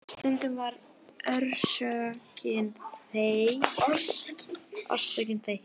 Stundum var orsökin þekkt.